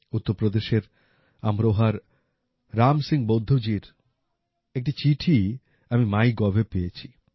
উত্তরপ্রদেশের আমরোহার রাম সিং বৌদ্ধজির একটি চিঠি আমি মাই গভে পেয়েছি